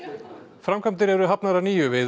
framkvæmdir eru hafnar að nýju við